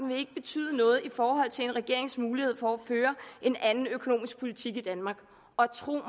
vil betyde noget i forhold til en regerings mulighed for at føre en anden økonomisk politik i danmark og tro mig